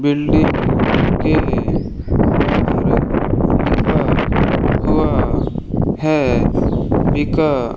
building के अंदर हुआ है बिका --